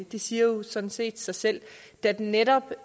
det siger jo sådan set sig selv da det netop